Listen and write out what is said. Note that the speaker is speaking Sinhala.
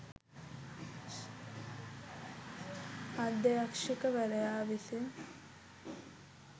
අධ්‍යක්‍ෂක වරයා විසින්